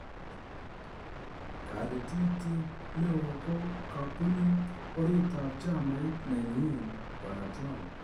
Kalititet neo ko kabunu oritab chamait nenyin Bw. Trump.